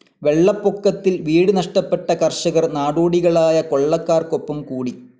വെള്ളപ്പൊക്കത്തിൽ വീട് നഷ്ടപ്പെട്ട കർഷകർ നാടോടികളായ കൊള്ളക്കാർക്കൊപ്പം കൂടി.